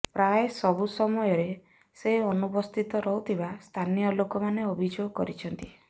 ପ୍ରାୟ ସବୁ ସମୟରେ ସେ ଅନୁପସ୍ଥିତ ରହୁଥିବା ସ୍ଥାନୀୟ ଲୋକମାନେ ଅଭିଯୋଗ କରିଛନ୍ତି